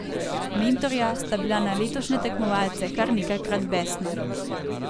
Mentorja sta bila na letošnje tekmovalce kar nekajkrat besna.